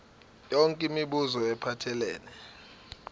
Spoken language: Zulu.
yonke imibuzo ephathelene